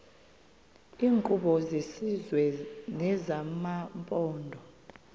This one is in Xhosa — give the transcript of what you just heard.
iinkqubo zesizwe nezamaphondo